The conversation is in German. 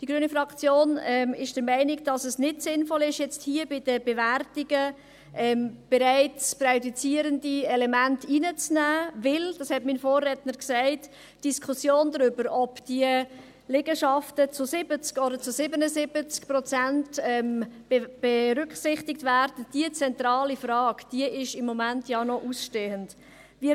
Die grüne Fraktion ist der Meinung, dass es nicht sinnvoll ist, hier bei der Bewertung präjudizierende Elemente hineinzunehmen, weil – dies wurde von meinem Vorredner gesagt – die Diskussion über die zentrale Frage, ob die Liegenschaften zu 70 oder zu 77 Prozent berücksichtigt werden, im Moment noch ausstehend ist.